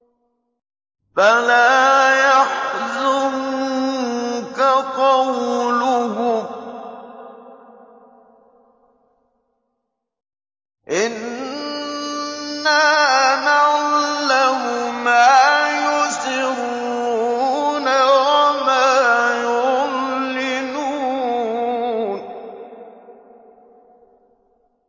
فَلَا يَحْزُنكَ قَوْلُهُمْ ۘ إِنَّا نَعْلَمُ مَا يُسِرُّونَ وَمَا يُعْلِنُونَ